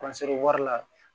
wari la